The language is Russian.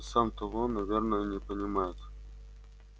и сам того наверное не понимает